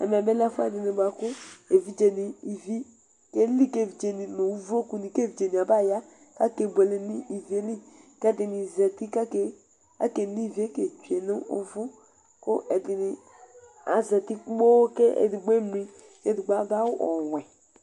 Ɛmɛ bɩ lɛ ɛfʊɛdɩ bʊakʊ ɩvɩ kelɩ nʊ ʊvlokʊ kevɩdze nɩ abaya ka kebʊele nʊ ɩvɩ ƴɛlɩ Ɛdɩnɩ zatɩvka kenɩvɩe ketsʊe nʊvʊ, kʊ ɛdɩnɩ azatɩ kpoo kedɩgbovemlɩ, kedɩgbo adʊ awʊ ɔwɛ